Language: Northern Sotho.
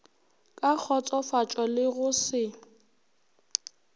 ka kgotsofatšo le go se